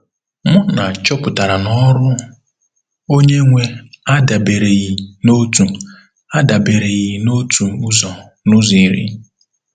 Muna chọpụtara na ọrụ Onye-nwe adabereghị n’otu adabereghị n’otu ụzọ n’ụzọ iri.